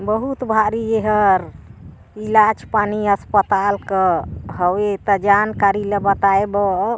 बहुत भारी ए हर इलाज पानी अस्पताल का हवे त जानकारी ला बताये बर --